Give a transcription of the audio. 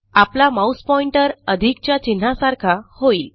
आपला mouse pointer अधिकच्या चिन्हासारखा होईल